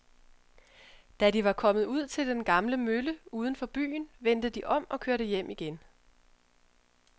Da de var kommet ud til den gamle mølle uden for byen, vendte de om og kørte hjem igen.